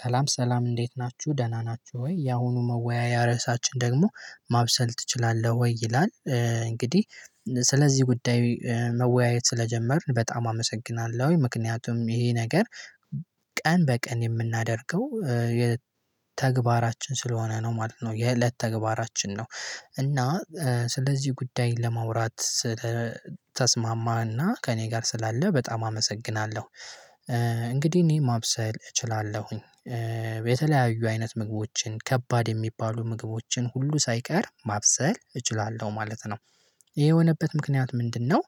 ሰላም ሰላም እንዴት ናችሁ ደህና ናችሁ ወይ ያሁኑ መወያያ ርዕሳችን ደግሞ ማብሰል ትችላለህ ወይ? ይላል እንግዲህ ስለዚህ ጉዳይ መወያየት ስለጀመርን በጣም አመሰግናለሁኝ ምክንያቱም ይሄ ነገር ቀን በቀን የምናደርገው ተግባራችን ስለሆነ ነው ማለት ነው የለት ተግባራችን ነው እና ስለዚህ ጉዳይ ለማውራት ስለተስማማህና ከእኔ ጋር ስላለህ በጣም አመሰግናለሁ። እንግዲህ እኔ ማብሰል እችላለሁኝ የተለያዩ አይነት ምግቦችን ከባድ የሚባሉ ምግቦችን ሁሉ ሳይቀር ማብሰል እችላለሁ ማለት ነው ይሄ የሆነበት ምክንያት ምንድነው?